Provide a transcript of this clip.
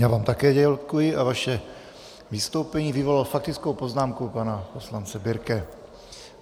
Já vám také děkuji a vaše vystoupení vyvolalo faktickou poznámku pana poslance Birke.